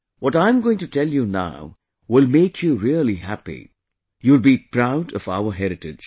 What I am going to tell you now will make you really happy...you will be proud of our heritage